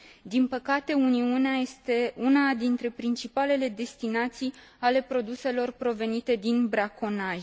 Din păcate, Uniunea este una dintre principalele destinații ale produselor provenite din braconaj.